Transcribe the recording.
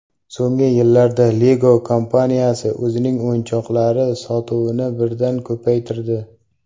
So‘nggi yillarda Lego kompaniyasi o‘zining o‘yinchoqlari sotuvini birdan ko‘paytirdi.